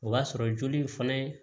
O b'a sɔrɔ joli in fana ye